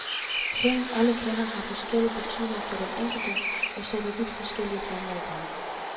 Ting, alle kender, har forskellig betydning for den enkelte og sætter vidt forskellige tanker i gang.